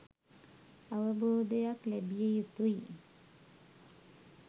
අවබෝධයක් ලැබිය යුතුයි.